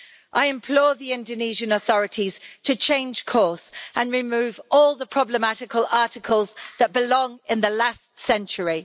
I implore the Indonesian authorities to change course and remove all the problematical articles that belong in the last century.